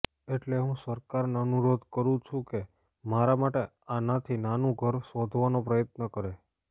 એટલે હું સરકારને અનુરોધ કરું છું કે મારા માટે આનાથી નાનું ઘર શોધવાનો પ્રયત્ન કરે